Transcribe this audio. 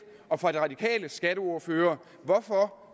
og fra de radikales skatteordfører hvorfor